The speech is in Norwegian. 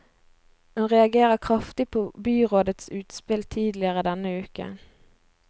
Hun reagerer kraftig på byrådets utspill tidligere denne uken.